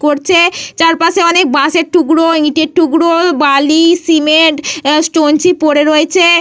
করছে। চারপাশে অনেক বাঁশের টুকরো ইটের টুকরো বালি সিমেন্ট স্টোন চিপ পড়ে রয়েছে।